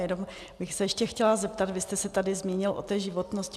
Jenom bych se ještě chtěla zeptat, vy jste se tady zmínil o té životnosti.